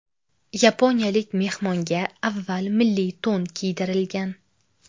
Yaponiyalik mehmonga avval milliy to‘n kiydirilgan.